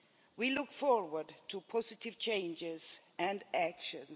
We look forward to positive changes and actions.